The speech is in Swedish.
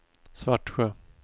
Svartsjö